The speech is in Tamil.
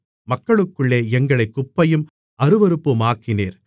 மக்களுக்குள்ளே எங்களைக் குப்பையும் அருவருப்புமாக்கினீர்